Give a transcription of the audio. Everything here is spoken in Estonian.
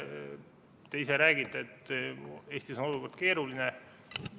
Te räägite, et Eestis on keeruline olukord.